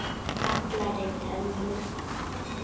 gallar í tönnum